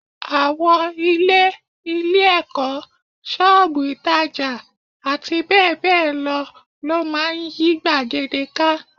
Àwọn ilé, ilé-ẹ̀kọ́, ṣọ́ọ̀bù ìtàjà àti bẹ́ẹ̀ bẹ́ẹ̀ lọ máa ń yí gbàgede ká